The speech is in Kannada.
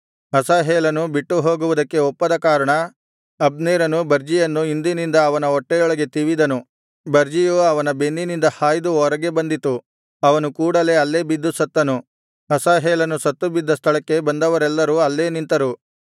ಅಸಾಹೇಲನು ಬಿಟ್ಟು ಹೋಗುವುದಕ್ಕೆ ಒಪ್ಪದ ಕಾರಣ ಅಬ್ನೇರನು ಬರ್ಜಿಯನ್ನು ಹಿಂದಿನಿಂದ ಅವನ ಹೊಟ್ಟೆಯೊಳಗೆ ತಿವಿದನು ಬರ್ಜಿಯು ಅವನ ಬೆನ್ನಿನಿಂದ ಹಾಯ್ದು ಹೊರಗೆ ಬಂದಿತು ಅವನು ಕೂಡಲೇ ಅಲ್ಲೇ ಬಿದ್ದು ಸತ್ತನು ಅಸಾಹೇಲನು ಸತ್ತು ಬಿದ್ದ ಸ್ಥಳಕ್ಕೆ ಬಂದವರೆಲ್ಲರೂ ಅಲ್ಲೇ ನಿಂತರು